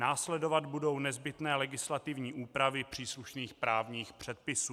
Následovat budou nezbytné legislativní úpravy příslušných právních předpisů.